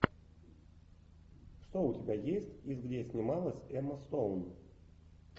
что у тебя есть из где снималась эмма стоун